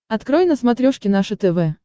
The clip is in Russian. открой на смотрешке наше тв